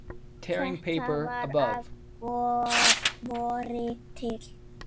Þetta var að vori til.